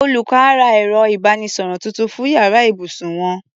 Olùkọ́ á ra ẹ̀rọ ìbánisọ̀rọ̀ tuntun fún yàrá ibùsùn wọn.